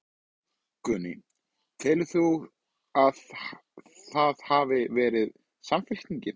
Guðný: Telur þú að það hafi verið Samfylkingin?